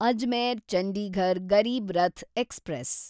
Ajmer Chandigarh Garib Rath express